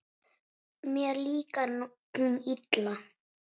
Mér líkar hún illa.